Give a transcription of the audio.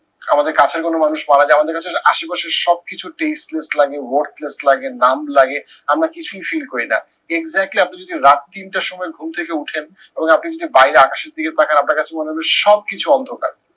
আমাদের কাছের কোনো মানুষ মারা যায় আমাদের কাছে আশেপাশের সব কিছু tasteless লাগে worthless লাগে numb লাগে আমরা কিছুই feel করি না exactly আপনি যদি রাত তিনটার সময় ঘুম থেকে উঠেন এবং আপনি যদি বাইরে আকাশের দিকে তাকান আপনার কাছে মনে হবে সব কিছু অন্ধকার।